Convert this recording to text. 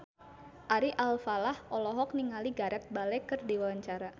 Ari Alfalah olohok ningali Gareth Bale keur diwawancara